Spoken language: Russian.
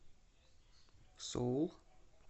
соул